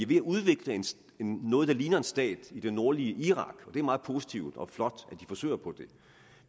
ved at udvikle noget der ligner en stat i det nordlige irak og det er meget positivt og flot at de forsøger på